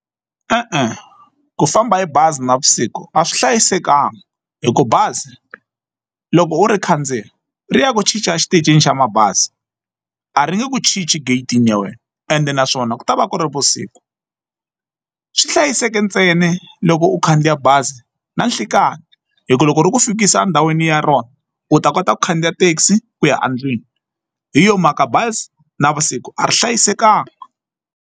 E-e, ku famba hi bazi navusiku a swi hlayisekanga hi ku bazi loko u ri khandziya ri ya ku cinca exitichini xa mabazi a ri nge ku chinchi gate-ini ya wena ende naswona ku ta va ku ri vusiku swi hlayiseke ntsena loko u khandziya bazi na nhlekani hikuva loko ri ku fikisa endhawini ya rona u ta kota ku khandziya thekisi ku ya endlwini hi yo mhaka bazi navusiku a ri hlayisekanga.